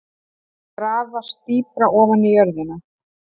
Grafast dýpra ofan í jörðina.